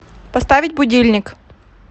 поставить будильник